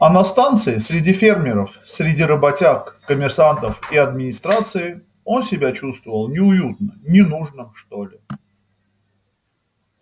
а на станции среди фермеров среди работяг коммерсантов и администрации он себя чувствовал неуютно ненужным что ли